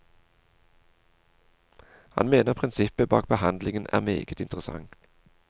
Han mener prinsippet bak behandlingen er meget interessant.